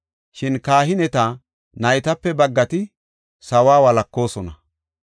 Shin kahineta naytape baggati sawuwa walakoosona.